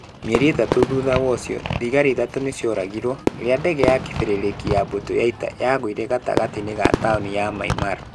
Mĩeri ĩtatũ thutha ũcio, thigari ithatũ nĩ cioragirũo. Rĩrĩa ndege ya kĩberereki ya mbũtũ ya ita yagũire gatagatĩ-inĩ ga taũni ya Mynmar.